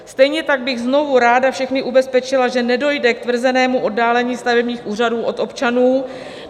Stejně tak bych znovu ráda všechny ubezpečila, že nedojde k tvrzenému oddálení stavebních úřadů od občanů.